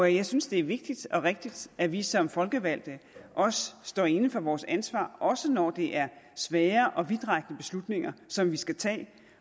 jeg synes det er vigtigt og rigtigt at vi som folkevalgte står inde for vores ansvar også når det er svære og vidtrækkende beslutninger som vi skal tage